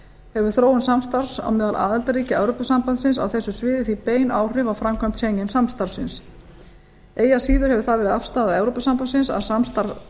hefur þróun samstarfs á meðal aðildarríkja evrópusambandsins á þessu sviði því bein áhrif á framkvæmd schengen samstarfsins eigi að síður hefur það verið afstaða evrópusambandsins að samstarf